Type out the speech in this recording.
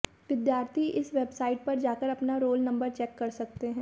विद्यार्थी इस वेबसाइट पर जाकर अपना रोल नंबर चेक कर सकते हैं